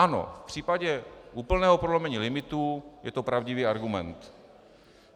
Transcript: Ano, v případě úplného prolomení limitů je to pravdivý argument.